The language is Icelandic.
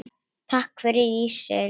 Takk fyrir ísinn.